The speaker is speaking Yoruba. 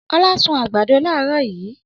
Ọlá sun àgbàdo láàárọ̀ yìí.